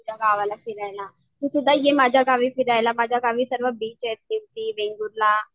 तुझ्या गावाला फिरायला. तू सुद्धा ये माझ्या गावी फिरायला माझ्या गावी सर्व बीच आहेत वेंगुर्ला